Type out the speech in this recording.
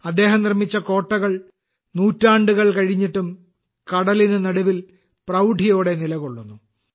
അദ്ദേഹം നിർമ്മിച്ച കോട്ടകൾ നൂറ്റാണ്ടുകൾ കഴിഞ്ഞിട്ടും കടലിന് നടുവിൽ പ്രൌഢിയോടെ നിലകൊള്ളുന്നു